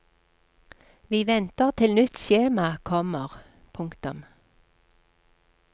Vi venter til nytt skjema kommer. punktum